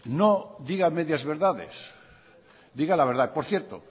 no diga medias verdades diga la verdad por cierto